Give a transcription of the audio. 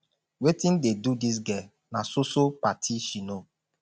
wetin dey do dis girl na so so party she know